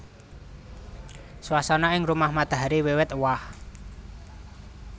Swasana ing Rumah Matahari wiwit éwah